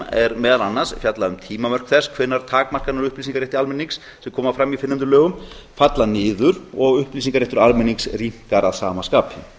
þeim er meðal annars fjallað um tímamörk þess hvenær takmarkanir á upplýsingarétti almennings sem koma fram í fyrrnefndum lögum falla niður og upplýsingaréttur almennings rýmkar að sama